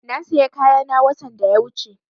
Na saya kayana watan da ya wuche